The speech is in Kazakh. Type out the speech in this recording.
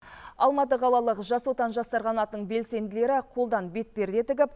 алматы қалалық жас отан жастар қанатының белсенділері қолдан бетперде тігіп